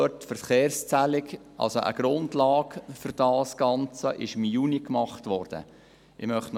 Die Verkehrszählung, die als Grundlage für das Ganze dienen sollte, wurde im Juni gemacht.